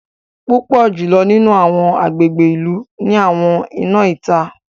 Púpọ jùlọ nínú awọn agbègbè ìlú ni àwọn iná ìta.